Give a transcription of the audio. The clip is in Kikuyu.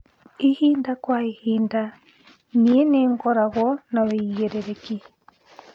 ĩhĩnda kwaĩhĩnda nii ningoragwo na uigiririki